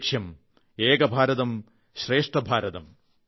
ഒരു ലക്ഷ്യം ഏക ഭാരതം ശ്രേഷ്ഠ ഭാരതം